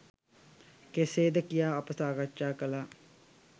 කෙසේද කියා අප සාකච්ඡා කළා.